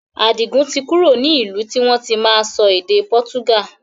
Adigun tí kúrò ní ìlú tí wọn tí máa sọ èdè pọ́túgà